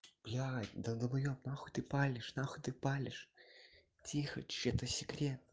блять да долбаёб нахуй ты палишь нахуй ты палишь тихо тшш это секрет